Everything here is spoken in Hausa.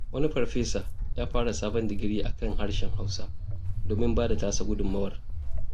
Wani farfesa ya fara sabon digiri a kan harshen Hausa, domin ba da tasa gudunmawar.